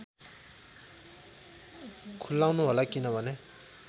खुलाउनु होला किनभने